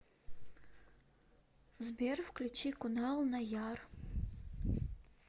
сбер включи кунал наяр